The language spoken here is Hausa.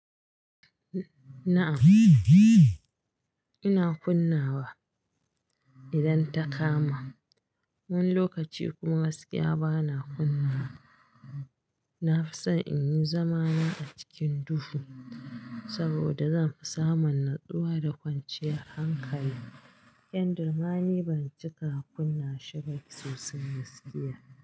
Na'am ina kunna wa idan ta kama. Wani lokaci kuma gaskiya bana kunna wa. Na fi son in yi zamana a cikin duhu saboda zan fi samun natsuwa da kwanciyar hankali, kyandir ma ni ban cika kunna shi ba sosai gaskiya.